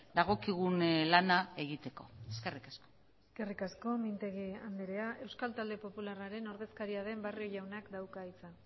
dagokigun lana egiteko eskerrik asko eskerrik asko mintegi andrea euskal talde popularraren ordezkaria den barrio jaunak dauka hitza